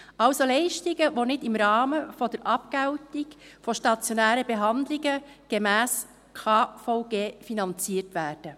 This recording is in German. Also Leistungen, welche nicht im Rahmen der Abgeltung von stationären Behandlungen gemäss KVG finanziert werden.